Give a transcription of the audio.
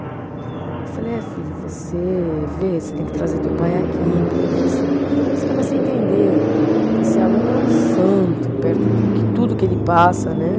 Eu falei, é, filho, você vê, você tem que trazer teu pai aqui, porque você, aí você começa a entender que esse aluno é um santo perto do que tudo que ele passa, né?